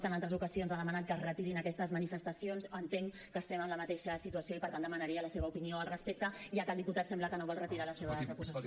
president igual que vostè en altres ocasions ha demanat que es retirin aquestes manifestacions entenc que estem en la mateixa situació i per tant demanaria la seva opinió al respecte ja que el diputat sembla que no vol retirar les seves acusacions